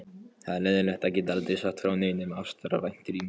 Það er leiðinlegt að geta aldrei sagt frá neinum ástarævintýrum.